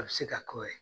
A bɛ se ka k'o ye